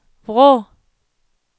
Vrå